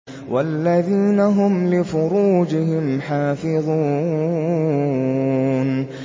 وَالَّذِينَ هُمْ لِفُرُوجِهِمْ حَافِظُونَ